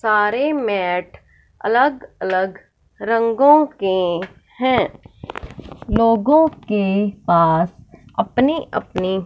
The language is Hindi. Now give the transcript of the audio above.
सारे मैट अलग अलग रंगों के हैं लोगों के पास अपनी अपनी--